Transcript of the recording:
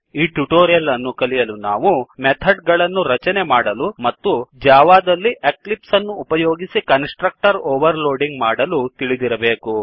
ಈ ಟ್ಯುಟೋರಿಯಲ್ ಅನ್ನು ಕಲಿಯಲು ನಾವು ಮೆಥಡ್ ಗಳನ್ನು ರಚನೆ ಮಾಡಲು ಮತ್ತು ಜಾವಾದಲ್ಲಿ ಎಕ್ಲಿಪ್ಸ್ ಅನ್ನು ಉಪಯೋಗಿಸಿ ಕನ್ಸ್ ಟ್ರಕ್ಟರ್ ಓವರ್ಲೋಡಿಂಗ್ ಮಾಡಲು ತಿಳಿದಿರಬೇಕು